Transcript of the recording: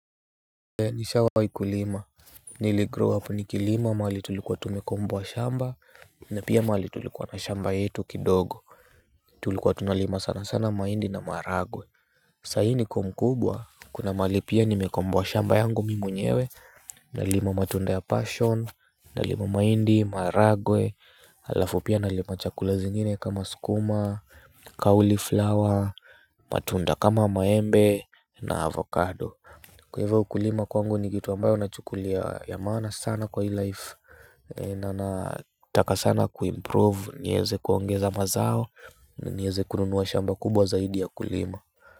Nishawai kulima. Niligrow up nikilima mahali tulikuwa tumekomboa shamba na pia mahali tulikuwa na shamba yetu kidogo. Tulikuwa tunalima sana sana mahindi na maharagwe. Saa ii niko mkubwa kuna mahali pia nimekomboa shamba yangu mi mwenyewe. Nalima matunda ya passion. Nalima mahindi maharagwe alafu pia nalima chakula zingine kama skuma cauliflower. Matunda kama maembe na avocado kwa hivyo kulima kwangu ni kitu ambayo nachukulia ya maana sana kwa hii life na nataka sana kuimprove nieze kuongeza mazao nieze kununua shamba kubwa zaidi ya kulima.